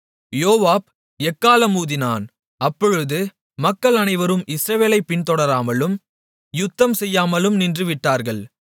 யோவாப் எக்காளம் ஊதினான் அப்பொழுது மக்கள் அனைவரும் இஸ்ரவேலைப் பின்தொடராமலும் யுத்தம்செய்யாமலும் நின்றுவிட்டார்கள்